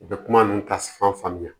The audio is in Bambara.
U bɛ kuma ninnu ta fan faamuya